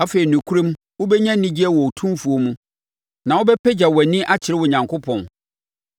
Afei nokorɛm wobɛnya anigyeɛ wɔ Otumfoɔ mu na wobɛpagya wʼani akyerɛ Onyankopɔn.